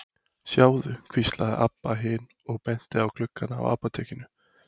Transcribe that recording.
Sjáðu, hvíslaði Abba hin og benti á gluggana á apótekinu.